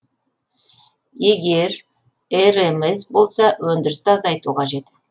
егер рмс болса өндірісті азайту қажет